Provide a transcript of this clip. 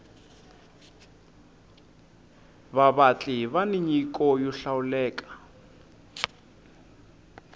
vavatli vani nyiko yo hlawuleka